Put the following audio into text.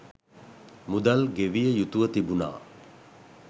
මුදල් ගෙවිය යුතුව තිබුණා